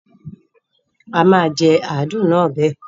Àma jẹ àádùn náà bẹ.